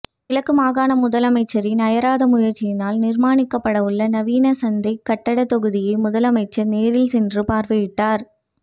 கிழக்கு மாகாண முதலமைச்சரின் அயராத முயற்சியினால் நிர்மாணிக்கப்படவுள்ள நவீன சந்தைக் கட்டடத் தொகுதியை முதலமைச்சர் நேரில் சென்று பார்வையிட்டார்